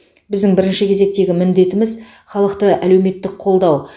біздің бірінші кезектегі міндетіміз халықты әлеуметтік қолдау